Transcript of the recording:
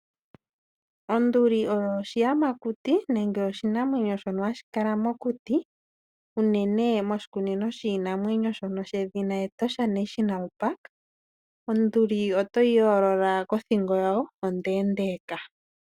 Onduli oyo oshiyamakuti nenge oshinamwenyo shoka hashi kala mokuti unene moshikunino shiinamwenyo shedhina Etosha National Park, onduli otoyi yoolola kothingo yawo ondendeka.